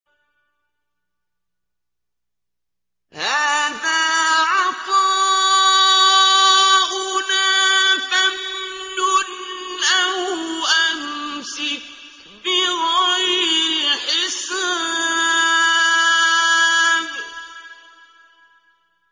هَٰذَا عَطَاؤُنَا فَامْنُنْ أَوْ أَمْسِكْ بِغَيْرِ حِسَابٍ